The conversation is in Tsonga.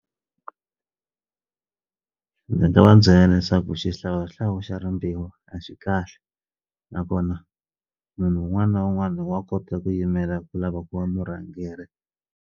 Ndzi nga va byela leswaku xihlawuhlawu xa rimbewu a xi kahle nakona munhu wun'wani na wun'wani wa kota ku yimela ku lava ku va murhangeri.